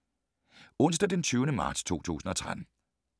Onsdag d. 20. marts 2013